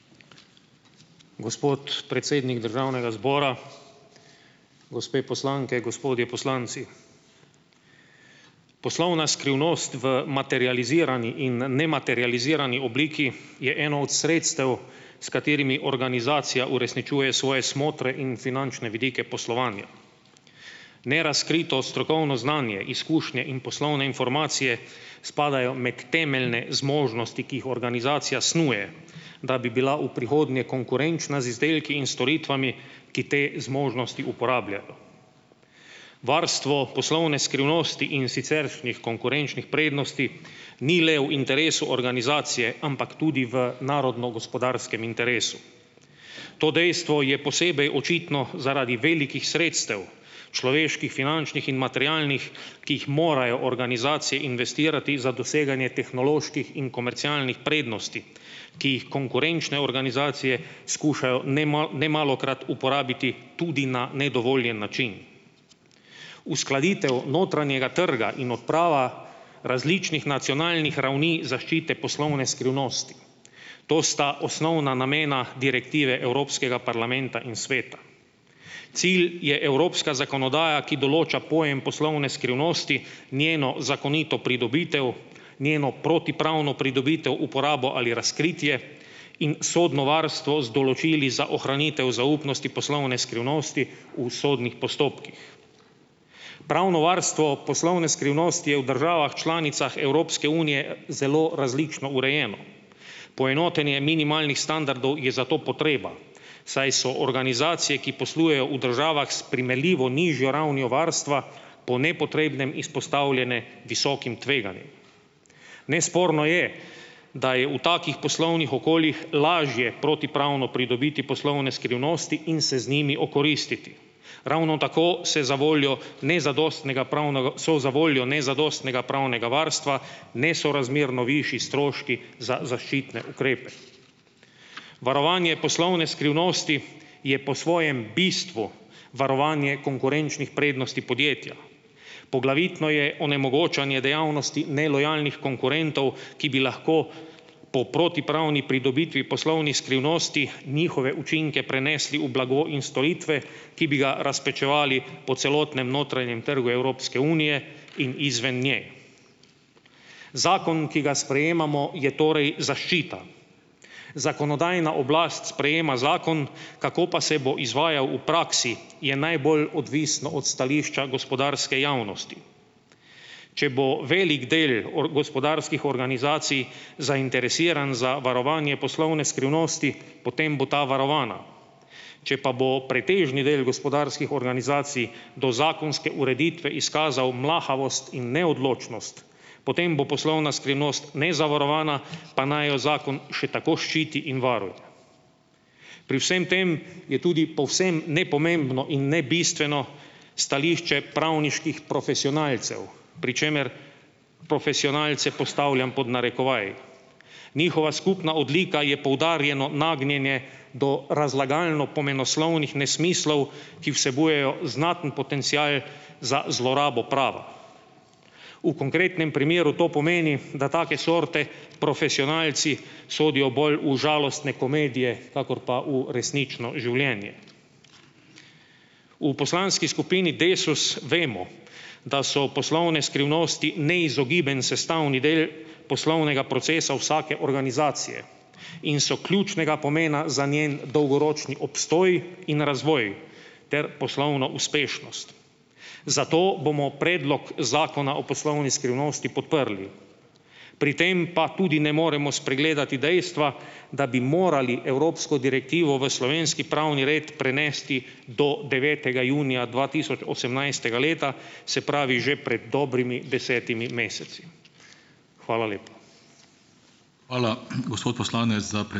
Gospod predsednik državnega zbora! Gospe poslanke, gospodje poslanci! Poslovna skrivnost v materializirani in nematerializirani obliki je eno od sredstev, s katerimi organizacija uresničuje svoje smotre in finančne vidike poslovanja. Nerazkrito strokovno znanje, izkušnje in poslovne informacije spadajo med temeljne zmožnosti, ki jih organizacija snuje, da bi bila v prihodnje konkurenčna z izdelki in storitvami, ki te zmožnosti uporabljajo. Varstvo poslovne skrivnosti in siceršnjih konkurenčnih prednosti ni le v interesu organizacije, ampak tudi v narodno gospodarskem interesu. To dejstvo je posebej očitno zaradi velikih sredstev človeških, finančnih in materialnih, ki jih morajo organizacije investirati za doseganje tehnoloških in komercialnih prednosti, ki jih konkurenčne organizacije skušajo nemalokrat uporabiti tudi na nedovoljen način. Uskladitev notranjega trga in opravil različnih nacionalnih ravni zaščite poslovne skrivnosti, to sta osnovna namena direktive Evropskega parlamenta in sveta. Cilj je evropska zakonodaja, ki določa pojem poslovne skrivnosti, njeno zakonito pridobitev, njeno protipravno pridobitev, uporabo ali razkritje in sodno varstvo z določili za ohranitev zaupnosti poslovne skrivnosti v sodnih postopkih. Pravno varstvo poslovne skrivnosti je v državah članicah Evropske unije zelo različno urejeno. Poenotenje minimalnih standardov je zato potreba, saj so organizacije, ki poslujejo v državah s primerljivo nižjo ravnijo varstva po nepotrebnem izpostavljene visokim tveganjem. Nesporno je, da je v takih poslovnih okoljih lažje protipravno pridobiti poslovne skrivnosti in se z njimi okoristiti. Ravno tako so zavoljo nezadostnega so v zavoljo nezadostnega pravnega varstva nesorazmerno višji stroški za zaščitne ukrepe. Varovanje poslovne skrivnosti je po svojem bistvu varovanje konkurenčnih prednosti podjetja. Poglavitno je onemogočanje dejavnosti nelojalnih konkurentov, ki bi lahko po protipravni pridobitvi poslovnih skrivnosti njihove učinke prenesli v blago in storitve, ki bi ga razpečevali po celotnem notranjem trgu Evropske unije in izven nje. Zakon, ki ga sprejemamo je torej zaščita. Zakonodajna oblast sprejema zakon, kako pa se bo izvajal v praksi je najbolj odvisno od stališča gospodarske javnosti. Če bo velik del gospodarskih organizacij zainteresiran za varovanje poslovne skrivnosti, potem bo ta varovana. Če pa bo pretežni del gospodarskih organizacij do zakonske ureditve izkazal mlahavost in neodločnost, potem bo poslovna skrivnost nezavarovana, pa naj jo zakon še tako ščiti in varuje. Pri vsem tem je tudi povsem nepomembno in nebistveno stališče pravniških profesionalcev, pri čemer profesionalce postavljam pod narekovaj. Njihova skupna odlika je poudarjeno nagnjenje do razlagalno-pomenoslovnih nesmislov, ki vsebujejo znaten potencial za zlorabo prava. V konkretnem primeru to pomeni, da take sorte profesionalci sodijo bolj v žalostne komedije, kakor pa v resnično življenje. V poslanski skupini Desus vemo, da so poslovne skrivnosti neizogiben sestavni del poslovnega procesa vsake organizacije in so ključnega pomena za njen dolgoročni obstoj in razvoj ter poslovno uspešnost, zato bomo predlog Zakona o poslovni skrivnosti podprli. Pri tem pa tudi ne moremo spregledati dejstva, da bi morali evropsko direktivo v slovenski pravni red prenesti do devetega junija dva tisoč osemnajstega leta, se pravi že pred dobrimi desetimi meseci. Hvala lepa.